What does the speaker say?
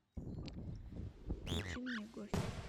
включи мне гость